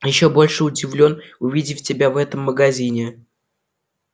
ещё больше удивлён увидев тебя в этом магазине